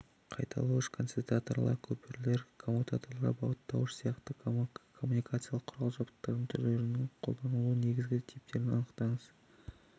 қайталауыш концентраторлар көпірлер коммутаторлар бағыттауыштар сияқты коммуникациялық құрал-жабдықтардың түрлерінің қолданылуының негізгі типтерін анықтаңыз